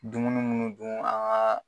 Dumunun munnu dun